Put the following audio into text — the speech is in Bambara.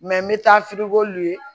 n bɛ taa ye